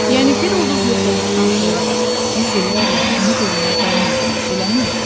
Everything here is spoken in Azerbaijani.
Yəni bir ulduz yox olduqdan sonra da yüz illərlə onu görməyə davam edirik, eləmi?